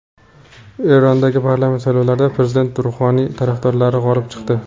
Erondagi parlament saylovlarida prezident Ruhoniy tarafdorlari g‘olib chiqdi.